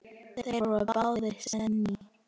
Þeir voru báðir séní.